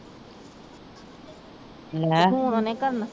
ਤੇ ਫੋਨ ਉਹਨੇ ਕੀ ਕਰਨਾ।